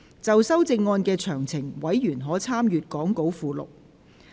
就修正案詳情，委員可參閱講稿附錄。